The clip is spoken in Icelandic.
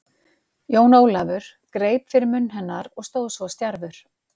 Jón Ólafur greip fyrir munn hennar og stóð svo stjarfur.